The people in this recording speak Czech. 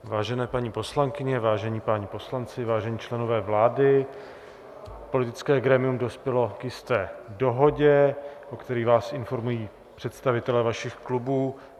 Vážené paní poslankyně, vážení páni poslanci, vážení členové vlády, politické grémium dospělo k jisté dohodě, o které vás informují představitelé vašich klubů.